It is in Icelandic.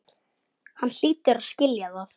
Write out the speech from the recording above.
Hann hlýtur að skilja það.